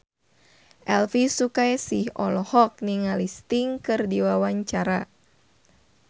Elvy Sukaesih olohok ningali Sting keur diwawancara